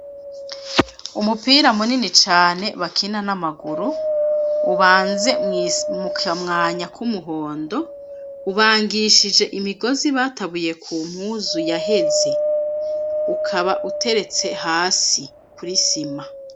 Umupira munini cane bakina n'amaguru, ubanze mu kamwanya k'umuhondo, ubangishije imigozi batabuye ku mpuzu yaheze ukaba uteretse hasi kw'isima.